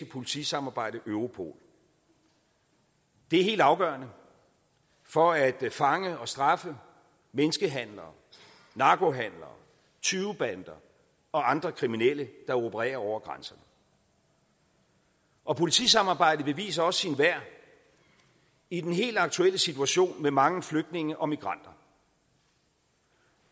politisamarbejde europol det er helt afgørende for at fange og straffe menneskehandlere narkohandlere tyvebander og andre kriminelle der opererer over grænserne og politisamarbejdet beviser også sit værd i den helt aktuelle situation med mange flygtninge og migranter